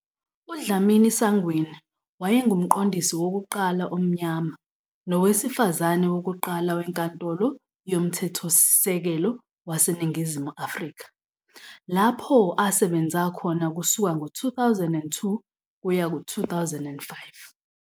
UDlamini-Sangweni wayengumqondisi wokuqala omnyama nowesifazane wokuqala weNkantolo yoMthethosisekelo waseNingizimu Afrika, lapho asebenza khona kusuka ngo-2002 kuya ku-2005.